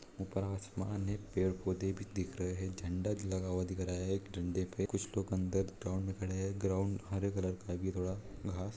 ऊपर आसमान है पेड़ पौधे भी दिख रहे हैं झण्डा भी लगा हुआ दिख रहा है एक डंडे पे कुछ लोग अंदर ग्राउन्ड मे खड़े हैं ग्राउन्ड हरे कलर का घास--